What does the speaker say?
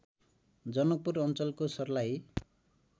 जनकपुर अञ्चलको सर्लाही